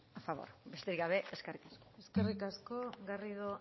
a favor besterik gabe eskerrik asko eskerrik asko garrido